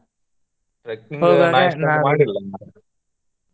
.